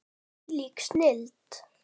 Þvílík snilld.